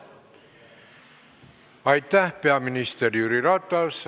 Aitäh, peaminister Jüri Ratas!